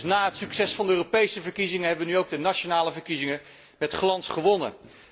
Dus na het succes van de Europese verkiezingen hebben we nu ook de nationale verkiezingen met glans gewonnen.